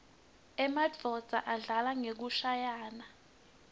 emanuodza adlala ngekushayaua